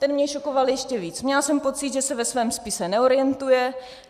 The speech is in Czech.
Ten mě šokoval ještě víc, měla jsem pocit, že se ve svém spisu neorientuje.